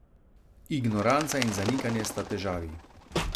Ignoranca in zanikanje sta težavi.